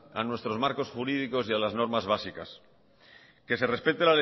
a nuestros marcos jurídicos y a las normas básicas que se respete